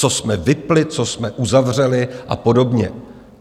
Co jsme vypnuli, co jsme uzavřeli a podobně?